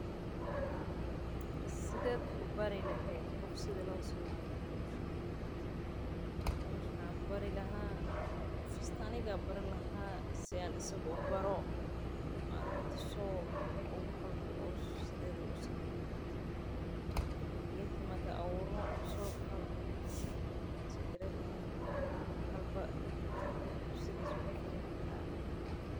Sideed ubari leheed qof sidha loo sameeyo howshan waan tusi lahaa geedka markaam abuuro Kadib.